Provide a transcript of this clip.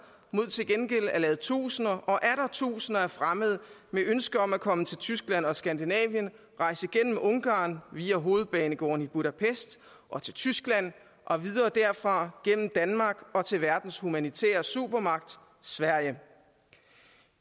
mod til gengæld at lade tusinder og atter tusinder af fremmede med ønske om at komme til tyskland og skandinavien rejse gennem ungarn via hovedbanegården i budapest og til tyskland og videre derfra gennem danmark og til verdens humanitære supermagt sverige